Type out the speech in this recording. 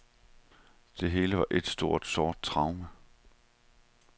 Det hele var et stort, sort traume.